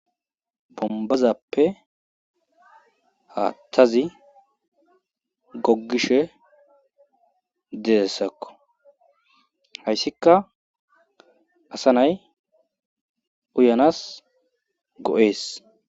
bombazappe haattazi goggishe deessakko hayssika asa nay uyanas go7ees